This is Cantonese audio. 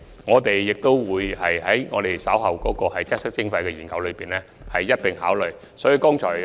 我們會將這問題納入稍後的"擠塞徵費"研究，一併加以考慮。